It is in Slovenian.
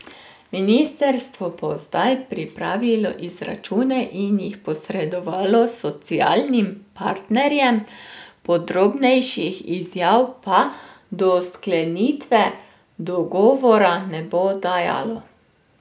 Ministrstvo bo zdaj pripravilo izračune in jih posredovalo socialnim partnerjem, podrobnejših izjav pa do sklenitve dogovora ne bo dajalo.